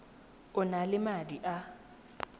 o na le madi a